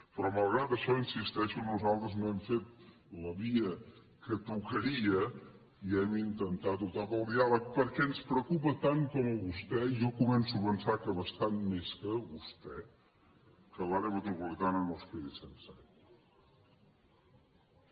però malgrat això hi insisteixo nosaltres no hem fet la via que tocaria i hem intentat optar pel diàleg perquè ens preocupa tant com a vostè i jo començo a pensar que bastant més que a vostè que l’àrea metropolitana no es quedi sense aigua